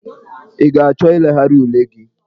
Ị ga-achọ ilegharị ule gị?